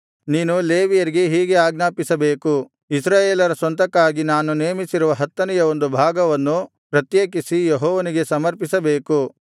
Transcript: ನೀನು ಲೇವಿಯರಿಗೆ ಹೀಗೆ ಆಜ್ಞಾಪಿಸಬೇಕು ಇಸ್ರಾಯೇಲರ ಸ್ವಂತಕ್ಕಾಗಿ ನಾನು ನೇಮಿಸಿರುವ ಹತ್ತನೆಯ ಒಂದು ಭಾಗವನ್ನು ಪ್ರತ್ಯೇಕಿಸಿ ಯೆಹೋವನಿಗೆ ಸಮರ್ಪಿಸಬೇಕು